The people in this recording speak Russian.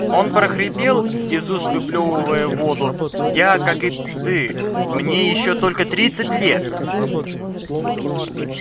он прохрипел из уст выплёвывая воду я как и ты мне ещё только тридцать лет